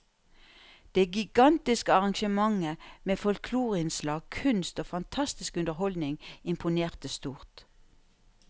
Det gigantiske arrangementet med folkloreinnslag, kunst og fantastisk underholdning imponerte stort.